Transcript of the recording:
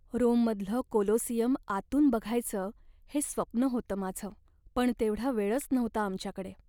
रोममधलं Colosseum आतून बघायचं हे स्वप्न होतं माझं, पण तेवढा वेळच नव्हता आमच्याकडे.